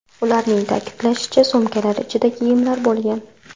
Ularning ta’kidlashicha, sumkalar ichida kiyimlar bo‘lgan.